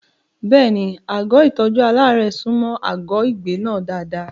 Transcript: Bẹ́ẹ̀ni, àgọ́ ìtọ́jú aláàárẹ̀ súnmọ́ àgọ́ ìgbé náà dáadáa.